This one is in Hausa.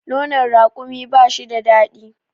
nono rakumi ba shi da dadi